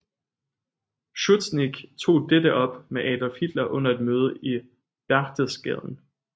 Schuschnigg tog dette op med Adolf Hitler under et møde i Berchtesgaden